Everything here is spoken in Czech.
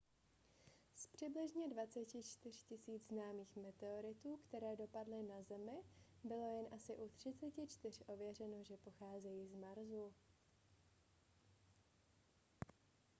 z přibližně 24 000 známých meteoritů které dopadly na zemi bylo jen asi u 34 ověřeno že pocházejí z marsu